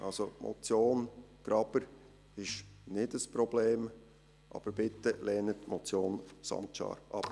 Also: Die Motion Graber ist kein Problem, aber lehnen Sie bitte die Motion Sancar ab.